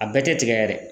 A bɛɛ tɛ tigɛ yɛrɛ ye